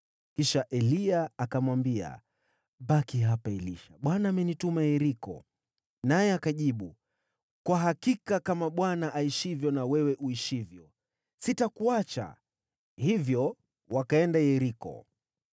Kisha Eliya akamwambia, “Baki hapa, Elisha. Bwana amenituma Yeriko.” Naye akajibu, “Kwa hakika kama Bwana aishivyo na wewe uishivyo, sitakuacha.” Hivyo wakaenda Yeriko.